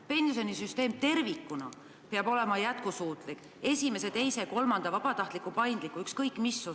Pensionisüsteem tervikuna peab olema jätkusuutlik, olgu selles üks, kaks või kolm sammast, olgu raha kogumine vabatahtlik või paindlik.